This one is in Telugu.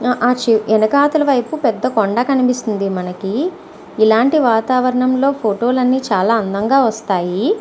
ఆ ఆ చు వెనకాతల వైపు పెద్ద కొండ కనిపిస్తుంది మనకి. ఇలాంటి వాతావరణంలో ఫోటో లనీ చాలా అందంగా వస్తాయి.